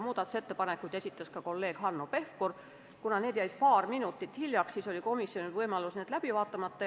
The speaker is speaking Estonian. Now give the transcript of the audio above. Muudatusettepanekuid esitas ka kolleeg Hanno Pevkur, ent kuna need jäid paar minutit hiljaks, oli komisjonil võimalik jätta need läbi vaatamata.